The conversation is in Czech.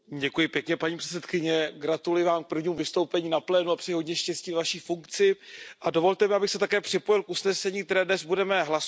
Paní předsedající, gratuluji vám k prvnímu vystoupení na plénu a přeji hodně štěstí ve Vaší funkci. Dovolte mi, abych se také připojil k usnesení, které dnes budeme hlasovat.